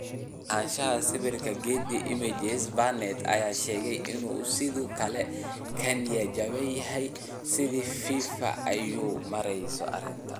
Lahaanshaha sawirka Getty Images Barnett ayaa sheegay in uu sidoo kale ka niyad jabsan yahay sida Fifa ay u maareyso arrinta.